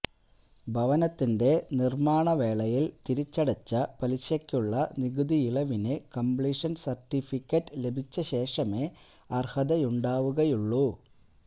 ഭവനത്തിന്റെ നിർമാണവേളയിൽ തിരിച്ചടച്ച പലിശയ്ക്കുള്ള നികുതിയിളവിന് കംപ്ലീഷൻ സർട്ടിഫിക്കറ്റ് ലഭിച്ചശേഷമേ അർഹതയുണ്ടാവുകയുള്ളൂ